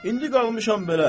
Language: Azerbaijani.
İndi qalmışam belə.